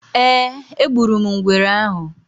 Eeh, egburum ngwere ahụ